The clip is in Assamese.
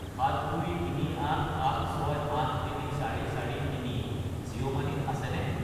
72387683443 জিঅ' মানি ত আছেনে?